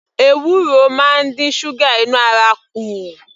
Ewuro máa ń dín ṣúgà inú ara kù